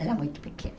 Era muito pequena.